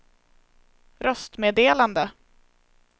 röstmeddelande